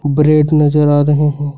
Bread नजर आ रहे हैं।